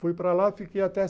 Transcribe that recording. Fui para lá, fiquei até